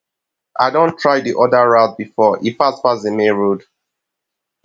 i don try di other route before e fast pass di main road